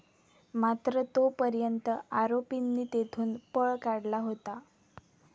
मात्र तो पर्यंत आरोपींनी तेथून पळ काढला होता.